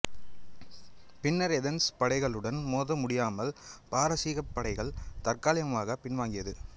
பின்னர் ஏதன்ஸ் படைகளுடன் மோத முடியமால் பாரசீகப்படைகள் தற்காலிகமாக பின்வாங்கியது